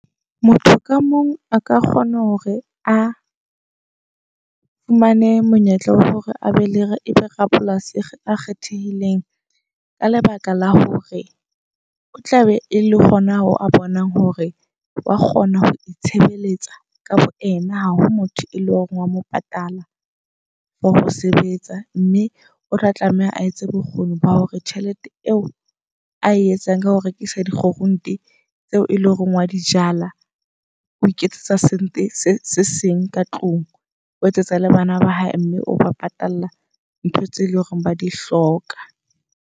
Motho ka mong a ka kgona hore a fumane monyetla wa hore abe le ebe rapolasi a kgethehileng. Ka lebaka la hore o tla be e le hona ho a bonang hore wa kgona ho itshebeletsa ka bo ena. Ha ho motho e leng hore wa mo patala for ho sebetsa. Mme o tla tlameha a etse bokgoni ba hore tjhelete eo a etsang ka ho rekisa dikgurunte tseo eleng hore wa di jala. O iketsetsa something se seng ka tlung. O etsetsa le bana ba hae mme o ba patala ntho tse leng hore ba di hloka.